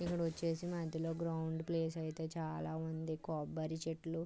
ఇక్కడ వచ్చేసి మధ్యలో గ్రౌండ్ ప్లేస్ అయితే చాలా ఉంది కొబ్బరి చెట్లు --